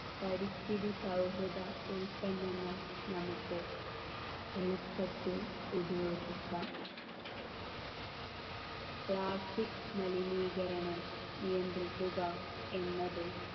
പരിസ്ഥിതി സൗഹൃദ ഉൽപന്നങ്ങൾ നമുക്ക് എളുപ്പത്തിൽ ഉപയോഗിക്കാം plastic മലിനീകരണം നിയന്ത്രിക്കുക എന്നത്